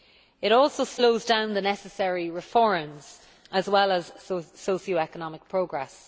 It also slows down the necessary reforms as well as socio economic progress.